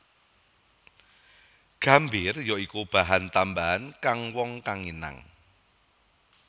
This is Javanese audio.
Gambir ya iku bahan tambahan kang wong kang nginang